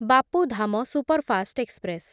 Bapu Dham superfast express